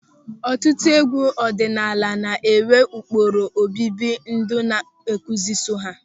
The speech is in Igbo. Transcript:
Ọtụtụ egwu ọdịnala na-enwe ụkpụrụ obibi ndụ na nkụzi so ha.